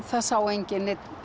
það sá enginn neinn